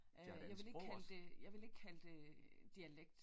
Øh jeg ville ikke kalde det jeg ville ikke kalde det dialekt